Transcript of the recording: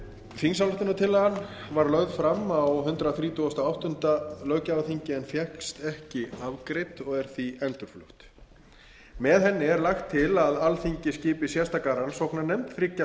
var lögð fram á hundrað þrítugasta og áttunda löggjafarþingi en fékkst ekki afgreidd og er því endurflutt með henni er lagt til að alþingi skipi sérstaka rannsóknarnefnd þriggja